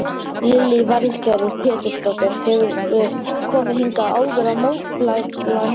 Lillý Valgerður Pétursdóttir: Hefurðu komið hingað áður að mótmæla núna?